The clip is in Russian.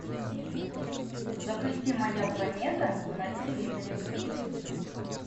запусти моя планета на телевизоре